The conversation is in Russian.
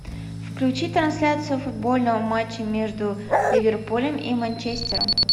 включи трансляцию футбольного матча между ливерпулем и манчестером